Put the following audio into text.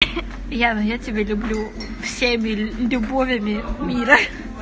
яна тебя люблю всеми любовями мира